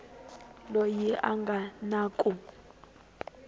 loyi a nga na ku